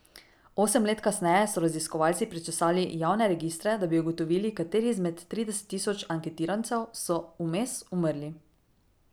Osem let kasneje so raziskovalci prečesali javne registre, da bi ugotovili, kateri izmed trideset tisoč anketirancev so vmes umrli.